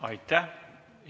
Aitäh!